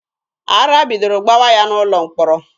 Ara bidoro gbawa ya n'ụlọ mkpọrọ.